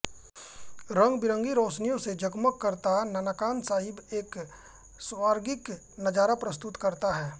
रंगबिरंगी रोशनियों से जगमग करता ननकाना साहिब एक स्वर्गिक नजारा प्रस्तुत करता है